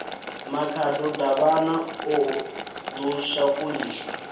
makhado davhana o ḓo shakuliswa